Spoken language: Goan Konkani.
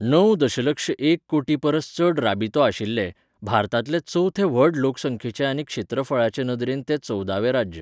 णव दशलक्ष एक कोटी परस चड राबितो आशिल्लें, भारतांतलें चवथें व्हड लोकसंख्येचें आनी क्षेत्रफळाचे नदरेन तें चवदावें राज्य.